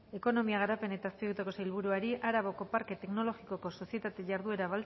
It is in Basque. ekonomiaren garapen eta azpiegituretako sailburuari egina arabako parke teknologikoko sozietate jarduera